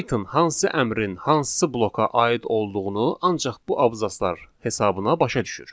Python hansı əmrin hansı bloka aid olduğunu ancaq bu abzaslar hesabına başa düşür.